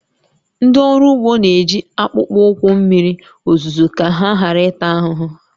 Ndị ọrụ ugbo na-eji akpụkpọ ụkwụ mmiri ozuzo ka ha ghara ịta ahụhụ